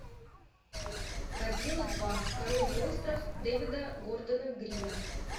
годзилла два король монстров дэвида гордона грина